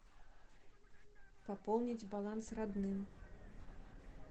пополнить баланс родным